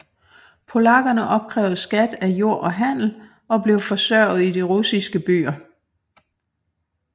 Polakkerne opkrævede skat af jord og handel og blev forsørget i de russiske byer